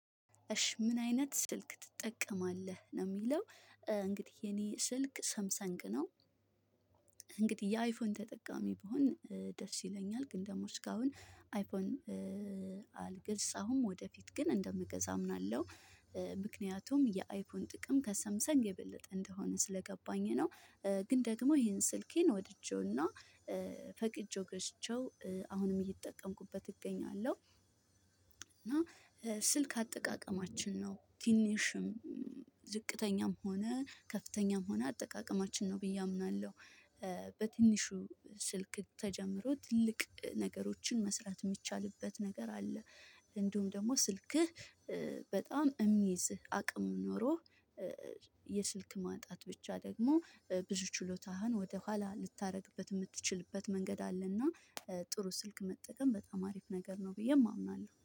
እሺ ምን አይነት ስልክ ትጠቀማለህ? ነው የሚለው እንግዲህ የኔ ስልክ ሰምሰንግ ነው። እንግዲህ የአይፎን ተጠቃሚ ብሆን ደስ ይለኛል ግን ደግሞ እስካሁን አይፎን። አልገዛሁም ወደፊት ግን እንደምገዛ አምናለሁ። ምክንያቱም የአይፎን ጥቅም ከሰምሰንግ የበለጠ እንደሆነ ስለገባኝ ነው። ግን ደግሞ ይሄን ስልኬን ወድጄውና ፈቅጄው ገዝቼው አሁንም እየተጠቀምኩበት እገኛለሁ። እና ስልክ አጠቃቀማችን ነው ትንሽም ዝቅተኛም ሆነ ከፍተኛም ሆነ አጠቃቀማችን ነው ብዬ አምናለሁ። በትንሹ ስልክ ተጀምሮ ትልቅ ነገሮችን መስራት የሚቻልበት ነገር አለ። እንዲሁም ደግሞ ስልክህ በጣም የሚይዝህ አቅም ኖሮህ የስልክ ማጣት ብቻ ደግሞ ብዙ ችሎታህን ወደኋላ ልታደርግበት የምትችልበት መንገድ አለና። ጥሩ ስልክ መጠቀም በጣም አሪፍ ነገር ነው ብዬም አምናለሁ